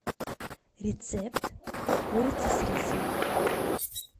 рецепт курицы с рисом